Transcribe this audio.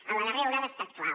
en la darrera onada ha estat clau